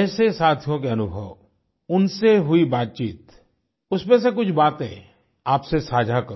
ऐसे साथियों के अनुभव उनसे हुई बातचीत उसमें से कुछ बातें आपसे साझा करूँ